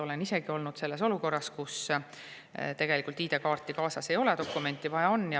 Olen isegi olnud olukorras, kus ID-kaarti kaasas ei ole, aga dokumenti on vaja.